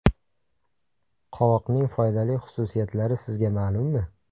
Qovoqning foydali xususiyatlari sizga ma’lummi?